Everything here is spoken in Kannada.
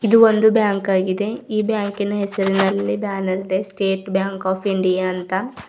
ಇದು ಒಂದು ಬ್ಯಾಂಕ ಆಗಿದೆ ಈ ಬ್ಯಾಂಕಿ ನ ಹೆಸರಿನಲ್ಲಿ ಇದ್ದಾನಂತೆ ಸ್ಟೇಟ್ ಬ್ಯಾಂಕ್ ಆಫ್ ಇಂಡಿಯಾ ಅಂತ.